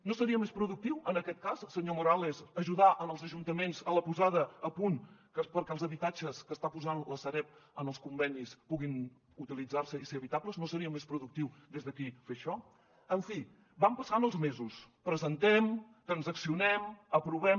no seria més productiu en aquest cas senyor morales ajudar els ajuntaments en la posada a punt perquè els habitatges que està posant la sareb en els convenis puguin utilitzar se i ser habitables no seria més productiu des d’aquí fer això en fi van passant els mesos presentem transaccionem aprovem